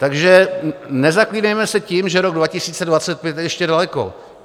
Takže nezaklínejme se tím, že rok 2025 je ještě daleko.